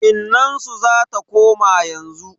Innansu zata koma yanzu.